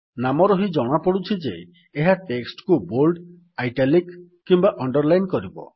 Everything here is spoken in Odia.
ନାମରୁ ହିଁ ଜଣାପଡୁଛି ଯେ ଏହା ଟେକ୍ସଟ୍ କୁ ବୋଲ୍ଡ ଇଟାଲିକ୍ କିମ୍ୱା ଅଣ୍ଡରଲାଇନ୍ କରିବ